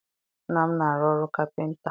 Nna m na-arụ ọrụ kapịnta.